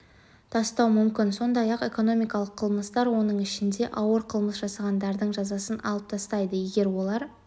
тастау мүмкін сондай-ақ экономикалық қылмыстар оның ішінде ауыр қылмыс жасағандардың жазасын алып тастайды егер олар